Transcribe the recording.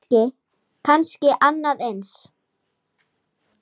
Kannski annað eins.